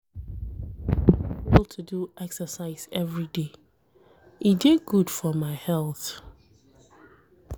I no dey fail to do exercise everyday, e dey good for my health.